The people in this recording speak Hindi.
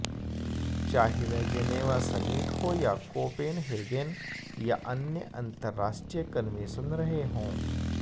चाहे वह जेनेवा समिट हो या कोपेनहेगेन या अन्य अन्तराष्ट्रीय कन्वेशन रहे हो